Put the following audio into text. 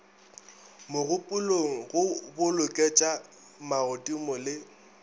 mogopolong go boloketša magodimo le